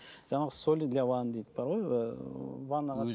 ана жаңағы соли для ванны дейді бар ғой